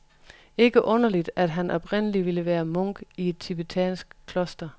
Ikke underligt, at han oprindeligt ville være munk i et tibetansk kloster.